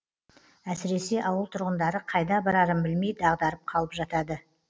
әсіресе ауыл тұрғындары қайда барарын білмей дағдарып қалып жатады